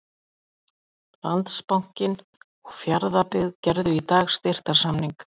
Landsbankinn og Fjarðabyggð gerðu í dag styrktarsamning.